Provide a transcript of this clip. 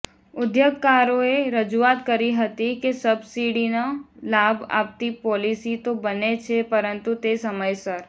ઉદ્યોગકારોએ રજુઆત કરી હતી કે સબસિડીનો લાભ આપતી પોલીસી તો બને છે પરંતુ તે સમયસર